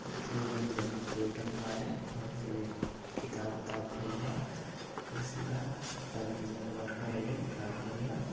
देखि एगो एहिजा कंप्यूटर बावे अउरी हेने किताब उताब धइल बा कुर्सी बा आपन की जवन वर्कर आइहन काम करिहन |